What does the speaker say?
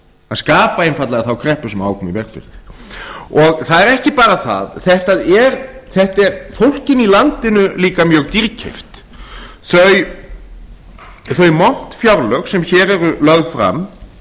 að koma í veg fyrir það er ekki bara það þetta er fólkinu í landinu líka mjög dýrkeypt þau montfjárlög sem hér eru lögð fram